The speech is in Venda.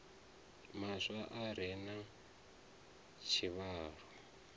maswa a re na tshivhalo